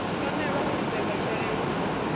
fanelwa u lidzelwa tshele hu